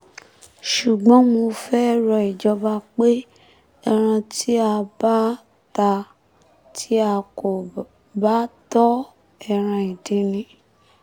ṣùgbọ́n mo fẹ́ẹ́ rọ ìjọba pé ẹran tí a bá ta tí a kò bá tọ́ ọ ẹran ìdin ni